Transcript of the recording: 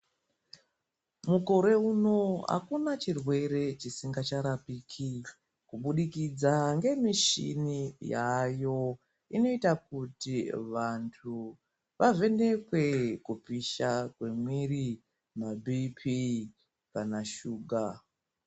Mukore uno akuna chirwere chisinga charqpiki kubudikidza ngemuchini yayo inoita kuti vantu vavhenekwe kupisha kwemwiri mabhipi kana shuga.